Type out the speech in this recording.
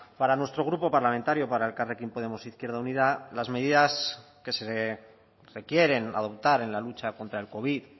para nuestro grupo parlamentario para elkarrekin podemos izquierda unida las medidas que se quieren adoptar en la lucha contra el covid